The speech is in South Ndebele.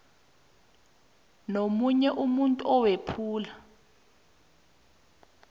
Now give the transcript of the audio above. nomunye umuntu owephula